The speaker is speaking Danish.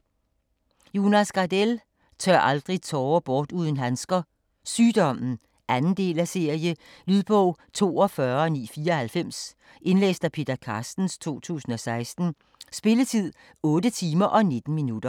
Gardell, Jonas: Tør aldrig tårer bort uden handsker: Sygdommen 2. del af serie. Lydbog 42994 Indlæst af Peter Carstens, 2016. Spilletid: 8 timer, 19 minutter.